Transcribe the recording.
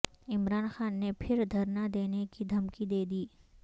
عمران خان نے پھر دھرنا دینے کی دہمکی دے دی